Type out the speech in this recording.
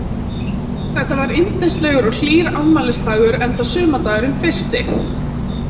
Þetta var yndislegur og hlýr afmælisdagur enda sumardagurinn fyrsti.